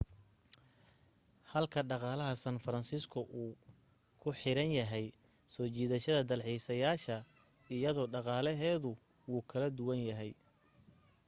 halka dhaqaalaha san francisco uu ku xiran yahay soo jiidashada dalxiisayaasha iyada dhaqaaleheedu wuu kala duwan yahay